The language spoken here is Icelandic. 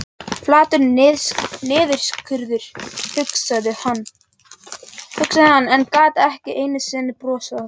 Flatur niðurskurður, hugsaði hann, en gat ekki einu sinni brosað að því.